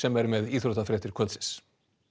er með íþróttafréttir kvöldsins